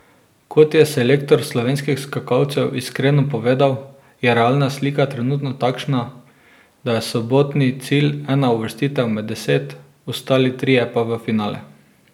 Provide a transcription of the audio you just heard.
Kot je selektor slovenskih skakalcev iskreno povedal, je realna slika trenutno takšna, da je sobotni cilj ena uvrstitev med deset, ostali trije pa v finale.